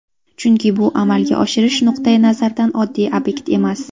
Chunki bu amalga oshirish nuqtai nazaridan oddiy obyekt emas.